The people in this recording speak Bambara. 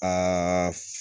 Aa